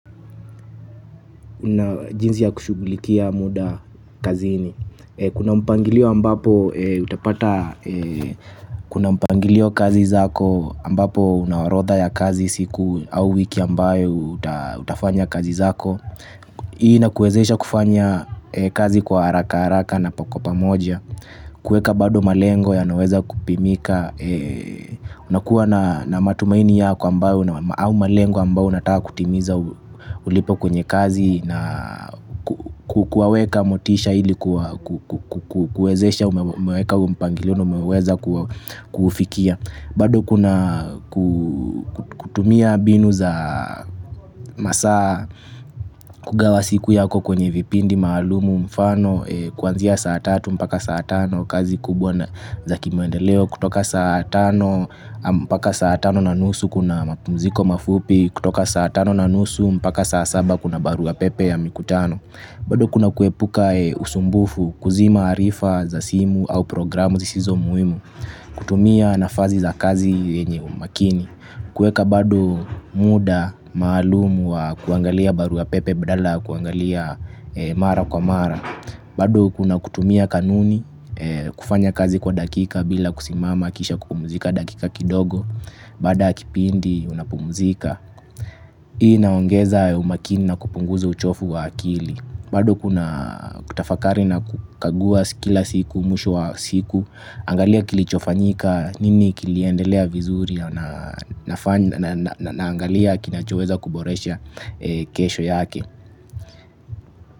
Jinsi ya kushughilikia muda kazini. Kuna mpangilio ambapo utapata kuna mpangilio kazi zako ambapo unaorodha ya kazi siku au wiki ambayo utafanya kazi zako. Hii inakuwezesha kufanya kazi kwa haraka haraka na kwa pamoja. Kuweka bado malengo yanaweza kupimika. Unakuwa na matumaini ya kwa ambayo au malengo ambayo unataka kutimiza ulipo kwenye kazi na kuwaweka motisha ili kuwezesha umeweka mpangilio na umeweza kufikia. Bado kuna kutumia mbinu za masaa kugawa siku yako kwenye vipindi maalumu mfano kuanzia saa tatu mpaka saa tano kazi kubwa za kimaendeleo kutoka saa tano mpaka saa tano na nusu kuna mapumziko mafupi kutoka saa tano na nusu mpaka saa saba kuna barua pepe ya mikutano. Bado kuna kuepuka usumbufu kuzima arifa za simu au programu zisizo muhimu, kutumia nafasi za kazi yenye umakini, kuweka bado muda maalumu wa kuangalia barua pepe badala ya kuangalia mara kwa mara, bado kuna kutumia kanuni kufanya kazi kwa dakika bila kusimama kisha kupumzika dakika kidogo, baada ya kipindi unapumzika. Hii inaongeza umakini na kupunguza uchovu wa akili. Bado kuna kutafakari na kukagua kila siku, mwisho wa siku. Angalia kilichofanyika nini kiliendelea vizuri. Naangalia kinachoweza kuboresha kesho yake.